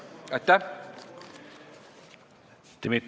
Aitäh!